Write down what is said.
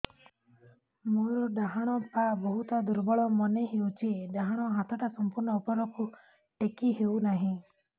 ମୋର ଡାହାଣ ପାଖ ବହୁତ ଦୁର୍ବଳ ମନେ ହେଉଛି ଡାହାଣ ହାତଟା ସମ୍ପୂର୍ଣ ଉପରକୁ ଟେକି ହେଉନାହିଁ